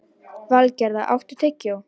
Valgerða, áttu tyggjó?